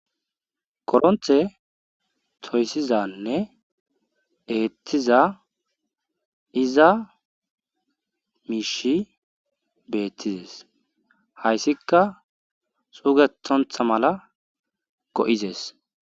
Kodhonte toyssizanne eethiza iza miishi beettizes haysikka xugethontha mala go7izes.